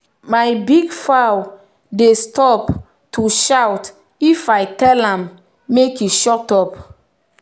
my big fowl dey stop to shout if i tell am make e shut up.